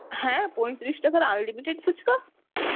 হ্যাঁ পঁয়ত্রিশ টাকার unlimited ফুচকা?